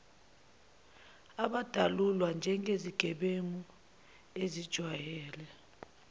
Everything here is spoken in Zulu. abadalulwa njengezigebengu ezijwayele